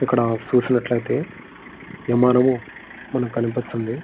ఇక్కడ చూసినట్లయితే విమానము మనకి కనిపిస్తుంది.